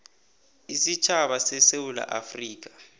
isitjhaba sesewula afrika